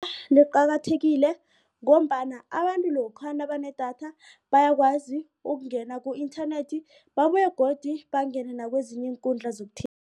Liqakathekile ngombana abantu lokha nakunedatha bayakwazi ukungena ku-internet babuye godu bangene nakwezinye iinkundla